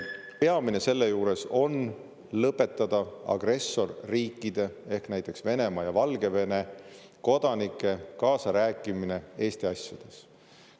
Peamine selle juures on lõpetada agressorriikide ehk Venemaa ja Valgevene kodanike kaasarääkimine Eesti asjades.